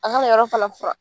A kana yɔrɔ fana furan.